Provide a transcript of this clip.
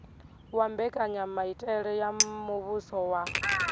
wa mbekanyamaitele ya muvhuso wa